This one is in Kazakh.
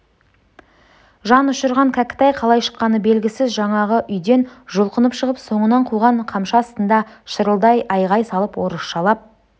жан ұшырған кәкітай қалай шыққаны белгісіз жаңағы үйден жұлқынып шығып соңынан қуған қамшы астында шырылдай айғай салып орысшалап